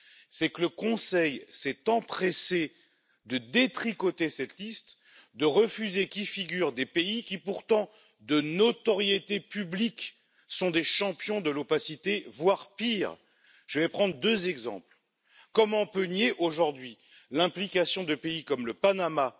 C'est que le Conseil s'est empressé de détricoter cette liste, de refuser qu'y figurent des pays qui, pourtant, de notoriété publique, sont des champions de l'opacité, voire pire! Je prends deux exemples comment peut on nier aujourd'hui l'implication de pays comme le Panama